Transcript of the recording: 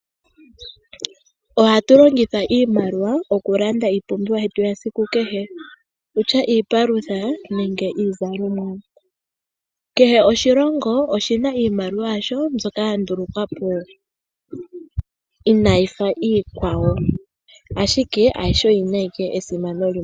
Ohatu longitha iimaliwa okulanda iipumbiwa yetu ya siku kehe, okutya iipalutha nenge iizalomwa. Kehe oshilongo oshina iimaliwa yasho mbyoka ya ndulukwapo inayi fa iikwawo, ashike ayihe oyina ike esimano limwe.